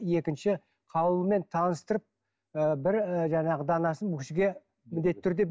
екінші қаулымен таныстырып ы бір ы жаңағы данасын жаңағы бұл кісіге міндетті түрде